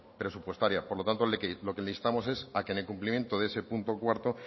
presupuestaria por lo tanto lo que le instamos es a que en el cumplimiento de ese punto cuarto